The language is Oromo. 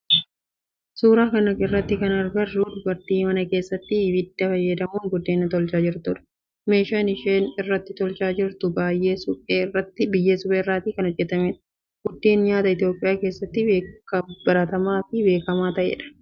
Suuraa kana irratti kana agarru dubartii mana keessatti ibidda fayyadamuun buddeen tolchaa jirtudha. Meeshaan ishee irratti tolchaa jirtu biyyee suphee irraa kan hojjetameedha. Buddeen nyaata Itiyoophiyaa keessatti baratamaa fi beekamaa ta'eedha.